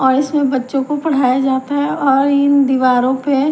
और इसमें बच्चों को पढ़ाया जाता है और इन दीवारों पे--